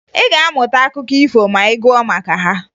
Ị ga-amụta akụkọ ifo ma ị gụọ maka ha